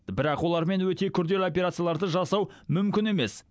бірақ олармен өте күрделі операцияларды жасау мүмкін емес